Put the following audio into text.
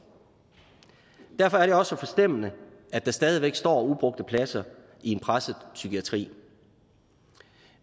derfor er det også så forstemmende at der stadigvæk står ubrugte pladser i en presset psykiatri